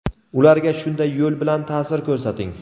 ularga shunday yo‘l bilan ta’sir ko‘rsating.